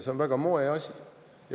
See on väga moeasi.